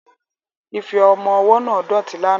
Ife ọmọ ọwọ́ náà dọ̀tí lánàá